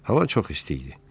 Hava çox isti idi.